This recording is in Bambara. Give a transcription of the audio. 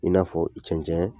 I n'a fɔ cɛncɛn